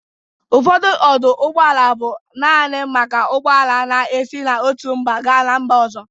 Ụfọdụ ọdụ ụgbọala bụ nanị maka ụgbọala na-esi n'otu mba ga ma mba ọzọ.